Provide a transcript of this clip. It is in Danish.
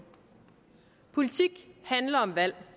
politik handler om valg